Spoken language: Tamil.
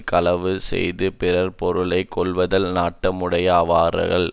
களவு செய்து பிறர் பொருளை கொள்வதில் நாட்டமுடையாரவர்கள்